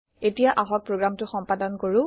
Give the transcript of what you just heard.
এতিয়া আহক প্ৰগ্ৰেমটো সম্পাদন কৰো